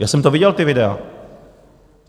Já jsem to viděl ta videa.